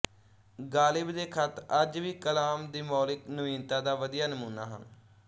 ਗ਼ਾਲਿਬ ਦੇ ਖ਼ਤ ਅੱਜ ਵੀ ਕਲਾਮ ਦੀ ਮੌਲਿਕ ਨਵੀਨਤਾ ਦਾ ਵਧੀਆ ਨਮੂਨਾ ਹਨ